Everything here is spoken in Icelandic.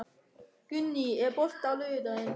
Gunný, er bolti á laugardaginn?